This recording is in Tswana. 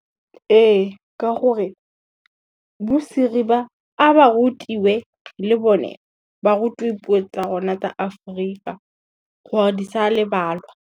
Ee ke gore, bo Siri ba a ba rutiwe le bone, ba rutiwe puo tsa rona tsa Aforika gore di sa lebalwa.